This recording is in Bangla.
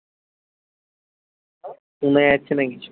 শোনা যাচ্ছে না কিছু